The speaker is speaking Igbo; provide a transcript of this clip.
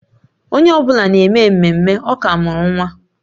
Onye ọ bụla na-eme ememme, ọ ka mụrụ nwa